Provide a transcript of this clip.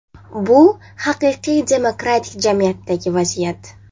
Bu haqiqiy demokratik jamiyatdagi vaziyat.